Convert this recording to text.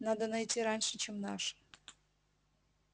надо найти раньше чем наши